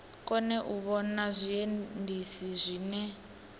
kone u vhona zwiendisi zwine